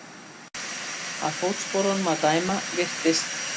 Af fótsporunum að dæma virtist